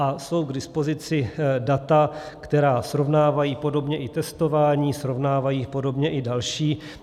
A jsou k dispozici data, která srovnávají podobně i testování, srovnávají podobně i další.